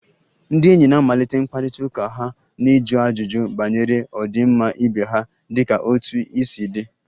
Ndị enyi na-amalite mkparịta ụka ha na ịjụ ajụjụ banyere ọdịmma ibe ha dịka 'otú ị si dey'